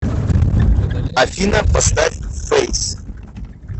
афина поставь фэйс